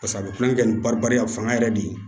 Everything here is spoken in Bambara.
Paseke a bɛ kulonkɛ kɛ ni barika fanga yɛrɛ de ye